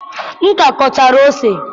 m ka gụchara ose